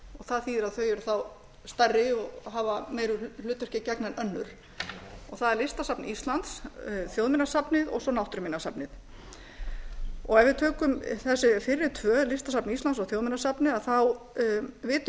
það þýðir að þau verða þá stærri og hafa meira hlutverki að gegna en önnur á er listasafn íslands þjóðminjasafnið og svo náttúruminjasafnið ef við tökum þessi fyrri tvö listasafn íslands og þjóðminjasafnið vitum